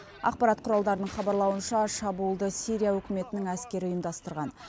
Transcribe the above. ақпарат құралдарының хабарлауынша шабуылды сирия үкіметінің әскері ұйымдастырған